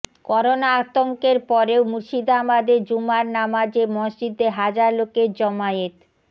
corona আতঙ্কের পরেও মুর্শিদাবাদে জুমার নামাজে মসজিদে হাজার লোকের জমায়েত